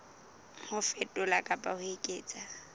ho fetola kapa ho eketsa